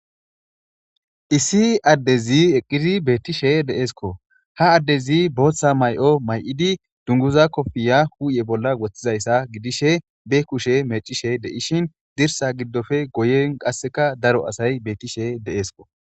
issi addezi eqqidi beettishe deeesko ha addezi booththa may7o may7idi dunguza kofiya huuye bolla woththizayssa gidishe be kushe mecishe deishin zirsa giddofe goyen qasseka daro asay beettishe deeesko